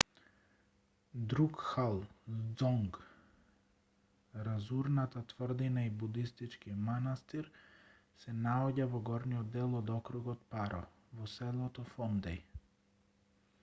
друкгал ѕонг разурната тврдина и будистички манастир се наоѓа во горниот дел од округот паро во селото фондеј